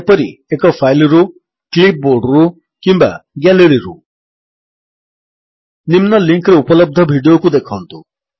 ଯେପରି ଏକ ଫାଇଲ୍ ରୁ କ୍ଲିପ୍ ବୋର୍ଡରୁ କିମ୍ୱା ଗ୍ୟାଲେରୀରୁ ନିମ୍ନ ଲିଙ୍କ୍ ରେ ଉପଲବ୍ଧ ଭିଡିଓକୁ ଦେଖନ୍ତୁ